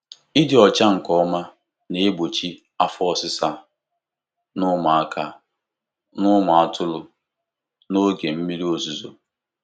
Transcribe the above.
Ịdị ọcha nke ọma na-egbochi afọ ọsịsa na ụmụaka na ụmụ atụrụ n'oge mmiri ozuzo.